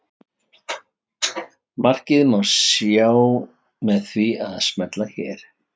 Markið má sjá með því að smella hérna.